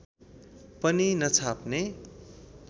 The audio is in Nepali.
पनि नछाप्ने